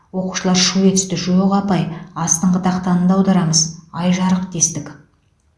оқушылар шу етісті жоқ апай астыңғы тақтаны да аударамыз ай жарық дестік